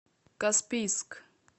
каспийск